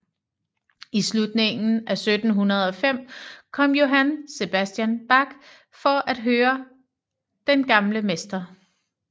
I slutningen af 1705 kom Johann Sebastian Bach for at høre den gamle mester